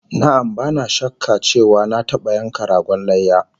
Na'am, bana shakka cewa na taba yanka ragon layya